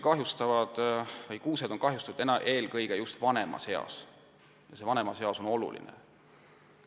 Kuused on kahjustatud eelkõige vanemas eas ja kahjustused on olulised.